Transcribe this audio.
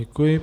Děkuji.